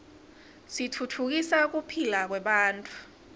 titfutfukisa kuphila kwebantfu